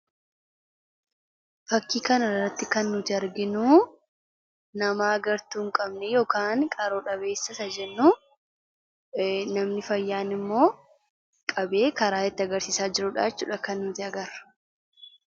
Fakkii kanarraatti kan nuti arginuu nama agartuu hin qabne yookaan qaro dhabeessa isa jennu, namni fayyaan immoo qabee karaa itti agarsiisaa jirudha jechuudha kan nuti agarru.